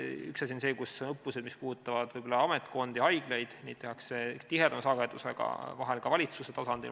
Üks asi on õppused, mis puudutavad ametkondi ja haiglaid, neid tehakse tihedamalt, vahel on need ka valitsuse tasandil.